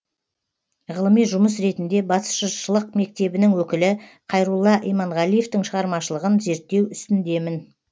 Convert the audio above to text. ғылыми жұмыс ретінде батыс жыршылық мектебінің өкілі қайрулла иманғалиевтің шығармашылығын зерттеу үстіндемін